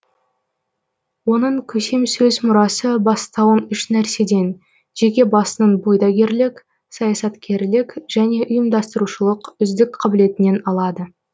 оның көсемсөз мұрасы бастауын үш нәрседен жеке басының бұйдагерлік саясаткерлік және ұйымдастырушылық үздік қабілетінен алады